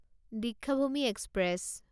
Deekshabhoomi express